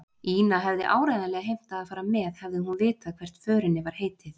Ína hefði áreiðanlega heimtað að fara með, hefði hún vitað hvert förinni var heitið.